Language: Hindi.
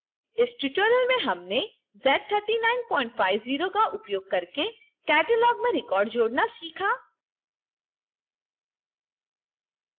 इस tutorial में हमने z3950 का उपयोग करके catalog में records जोड़ना सीखा